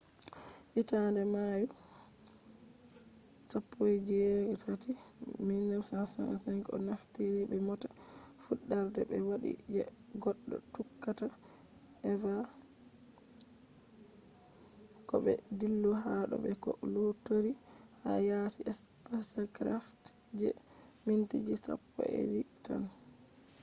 hitande mayu 18 1965 o naftiri be mota fuddarde be wadi je goddo tuqata eva ko bo dillugo ha do be ko luttori ha yaasi spacecraft je mintiji sappo’edidi tan